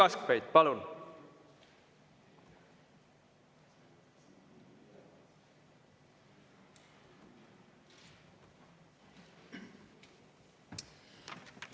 Uno Kaskpeit, palun!